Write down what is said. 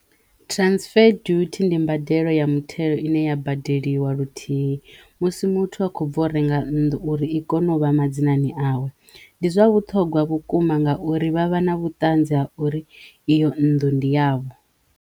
Transfer duty ndi mbadelo ya muthelo ine ya badeliwa luthihi musi muthu a kho bva u renga nnḓu uri i kono vha madzinani awe ndi zwa vhuṱhogwa vhukuma ngauri vha vha na vhutanzi ha uri iyo nnḓu ndi yavho.